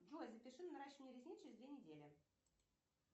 джой запиши на наращивание ресниц через две недели